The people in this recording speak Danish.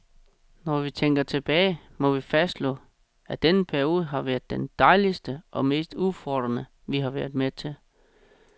Når vi tænker tilbage, må vi fastslå, at denne periode har været den dejligste og mest udfordrende, vi har været med til.